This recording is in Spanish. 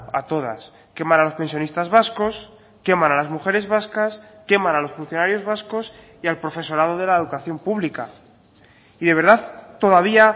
a todas queman a los pensionistas vascos queman a las mujeres vascas queman a los funcionarios vascos y al profesorado de la educación pública y de verdad todavía